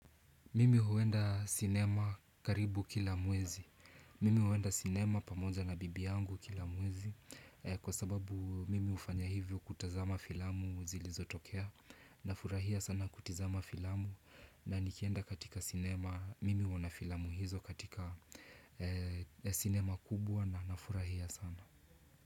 Mimi huenda cinema karibu kila mwezi. Mimi huenda cinema pamoja na bibi yangu kila mwezi kwa sababu mimi hufanya hivyo kutazama filamu zilizo tokea nafurahia sana kutizama filamu na nikienda katika cinema, mimi huona filamu hizo katika cinema kubwa na nafurahia sana.